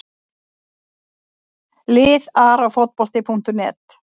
Lið Arafotbolti.net